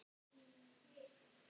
Svo er ég bara búin.